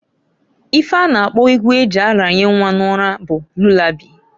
Ife a na-akpo egwu eji aranye nnwa n'ụra bụ lulabai.